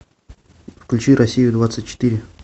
включи россию двадцать четыре